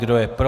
Kdo je pro?